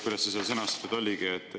Kuidas see seal sõnastatud oligi?